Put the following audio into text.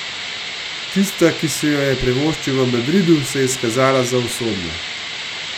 Tista, ki si jo je privoščil v Madridu, se je izkazala za usodno.